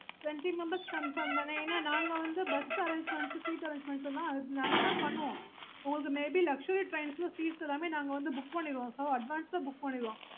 twenty membersyes mam